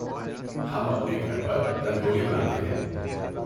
ہم اپنی گھر پر رنگولی بناتے ہیں۔